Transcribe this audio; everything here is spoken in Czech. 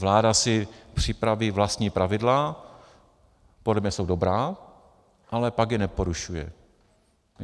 Vláda si připraví vlastní pravidla, podle mě jsou dobrá, ale pak je porušuje.